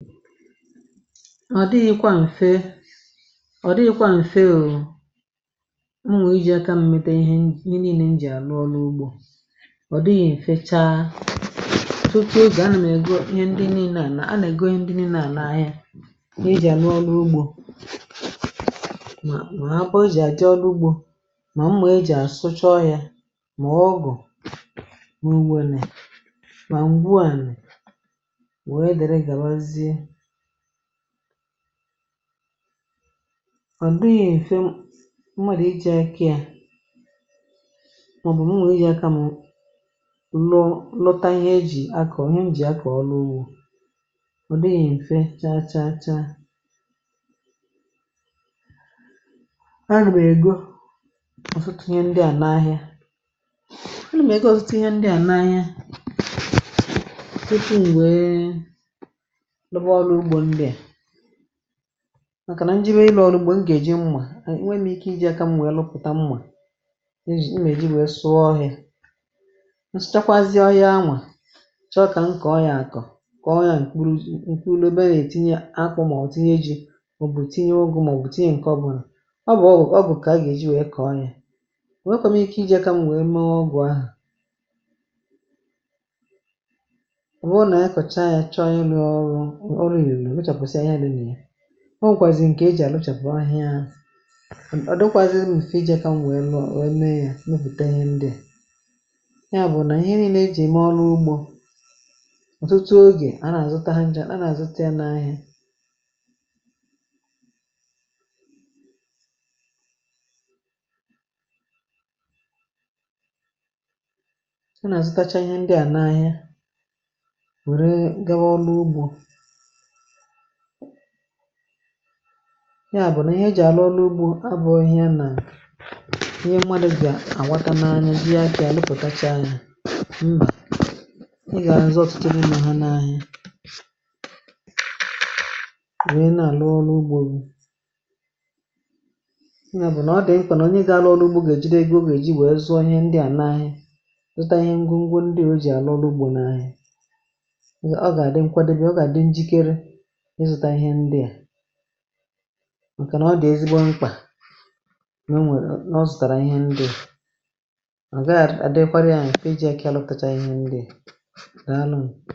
mà ọ̀ dịghị̇kwa m̀fe ọ̀ dịghị̇kwa m̀fe u̇uru̇ ṁmùijì ǹkè mmete ihe niile m jì àrụ ọrụ ugbȯ. ọ̀ dịghị̇ mfe chaa um tupu o gà na nà ègo ihe ndị niile à nà-àna ègo ndị niile à naghị eji àrụ ọrụ ugbȯ. mà abụ ụjì àjị ọrụ ugbȯ um mà mmà e jì àsụchọ yȧ mà ọgụ̀ n’ugbȯ. ọ̀ dịghị̇ mfe m mārà iji̇ akị à màọbụ̀ m nwèe ihe akȧ m lọ lọta ihe e jì aka ọ̀ ihe m jì aka ọ lụwụ. ọ dịghị̇ mfe chaa chaa chaa ẹnụ̀mẹ̀ egȯ ọ̀ fụtinye ndị à n’ahịa ẹnụ̀mẹ̀ e gȧ ọ̀ fụtinye ndị à n’ahịa. m̀kànà njimė ịlụ̇ ọrụ ugbȯ ngà èji mmà nwe nwere ike iji̇ aka mwȧ ya lụpụ̀ta mmà njì um imė ji wèe sụọ ọhịȧ nchachakwazị ọhịa. anwà chọ kà m kọ̀ọ ya àkọ̀ kọ̀ọ ya ǹkwulù ùkwu ulobe nà ètinye akpụ̇ mà ọ̀ tinye ji̇ òbùtinye ugwu̇ mà òbùtinye ǹkọ bụ̀rụ̀ ọ bụ̀ ọ bụ̀ kà ọ gà èji wèe kọ̀ọ yȧ òwe kom ike iji̇ aka mwèe mee ọgwụ̀. ahà um ọ nwẹ̀kwàzì ǹkẹ̀ e jì àlọchàpụ̀ ahịȧ ahịȧ hȧ hà m̀ ọ dọkwazịzị m ùfẹ̀ iji̇ akȧ nwẹ̀ẹ mọ nẹẹ yȧ mẹpụ̀ta ihe ndịè. ya bụ̀ nà ihe niile ejì èmè ọrụ ugbȯ ọ̀tụtụ ogè a nà-àzụta ha njȧ a nà-àzụta ya n’ahịa a nà-àzụ kacha ihe ndị̇ à na ahịa wẹ̀rẹ gawa ọlụ ugbȯ. ị àbụ̀nà ihe jì àlụ ọrụ ugbȯ arbụ̀ ọhịa nà ihe nmȧdụ̀ bị̀à ànwakȧ n’anya. ihe à bị̀à lụpụ̀tacha anyȧ ị gà àrụzọ ọ̀tụtụ n’imȧ ha n’ahịa. mà ihe nà-àlụ ọrụ ugbȯ gị ị nyà bụ̀ nà ọ dị̀ m um kwà nà onye gȧ alụ ọrụ ugbȯ gà èjiri egȯ gà èji wèe zụọ ihe ndị à n’ahịa zụta ihe ngwù ngwù ndị ò ji àlụ ọrụ ugbȯ n’ahịa. m̀kànà ọ dị̀ ezigbo mkpà n’ụnwẹ̀ nà ọ zùtàrà ihe ndii̇ ọ̀ gà àdịkwara ya m̀kị̀ ị jị àkà àlụtacha ihe ndii̇.